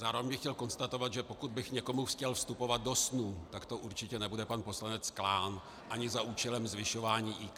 Zároveň bych chtěl konstatovat, že pokud bych někomu chtěl vstupovat do snů, tak to určitě nebude pan poslanec Klán, ani za účelem zvyšování IQ.